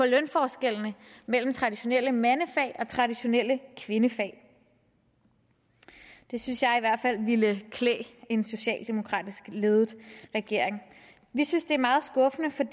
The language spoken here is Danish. lønforskellene mellem traditionelle mandefag og traditionelle kvindefag det synes jeg i hvert fald ville klæde en socialdemokratisk ledet regering vi synes det er meget skuffende for